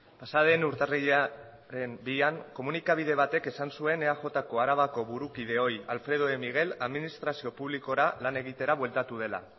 pasaden urtarrilaren bian komunikabide batek esan zuen eajko arabako burukide ohi alfredo de miguel administrazio publikora lan egitera bueltatu dela